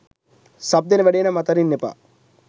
sub දෙන වැඩේ නම් අතාරින්න එපා